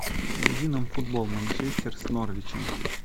найди нам футбол манчестер с норвичем